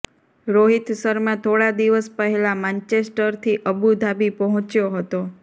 રોહિત શર્મા થોડા દિવસ પહેલા માન્ચેસ્ટરથી અબુ ધાબી પહોંચ્યો હતો